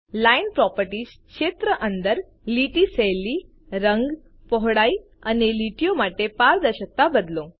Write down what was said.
line properties ક્ષેત્ર અંદર લીટીની શૈલી રંગ પહોળાઈ અને લીટીઓ માટે પારદર્શકતા બદલો